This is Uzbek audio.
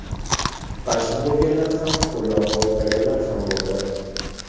Qarshi bo‘lganlar ham, qo‘llab-quvvatlaganlar ham bo‘ldi.